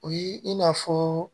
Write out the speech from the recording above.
O ye in'a fɔ